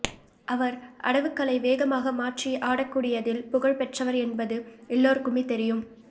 அவர் அடவுகளை வேகமாக மாற்றி ஆடக்கூடியதில் புகழ் பெற்றவர் என்பது எல்லோருக்குமே தெரியும்